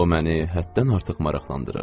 O məni həddən artıq maraqlandırır.